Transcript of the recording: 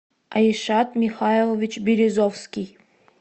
айшат михайлович березовский